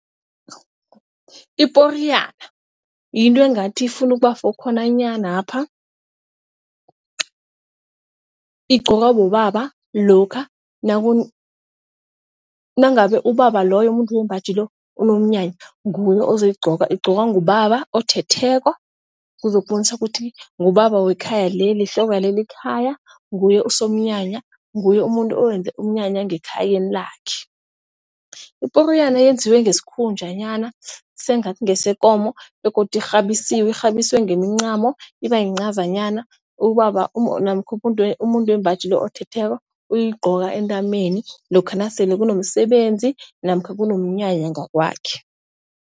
Iporiyana yinto engathi ifuna ukuba-four khona nanyanapha, igqokwa bobaba lokha nangabe ubaba loyo umuntu wembaji lo unomnyanya nguye uzoyigqoka. Igcoka ngubaba othetheko kuzobonisa ukuthi ngubaba wekhaya leli ihloko le lekhaya nguye usomnyanya nguye umuntu owenza umnyanya ngekhayeni lakhe. Iporiyana eyenziwe ngesikhunjanyana sengathi ngesekomo begodu irhabisiwe, irhabiswe ngemincamo ibayincazanyana. Ubaba namkha umuntu wembaji othetheko uyigcoka entameni lokha nasele kunomsebenzi namkha kunomnyanya ngakwakhe.